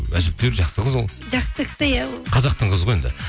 әжептеуір жақсы қыз ол жақсы кісі иә ол қазақтың қызы ғой енді